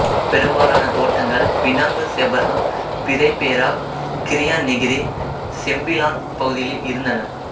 பெரும்பாலான தோட்டங்கள் Penang Seberang Perai Perak Kerian Negeri Sembilan பகுதிகளில் இருந்தன